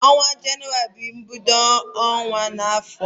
Onwa Jenụwarị na ebiod aho obuna